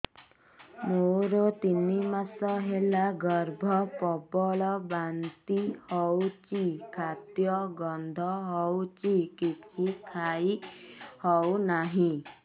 ମୋର ତିନି ମାସ ହେଲା ଗର୍ଭ ପ୍ରବଳ ବାନ୍ତି ହଉଚି ଖାଦ୍ୟ ଗନ୍ଧ ହଉଚି କିଛି ଖାଇ ହଉନାହିଁ